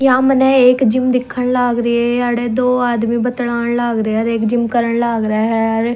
या मन्ने एक जिम दिखण लाग री ह याड़े दो आदमी बतलाण लाग रे ह अर एक जिम करण लाग रया ह अर--